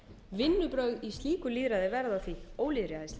vinnubrögð í slíku lýðræði verða því ólýðræðisleg